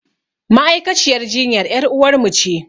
Ma'aikaciyar jinyan ƴaruwar mu ce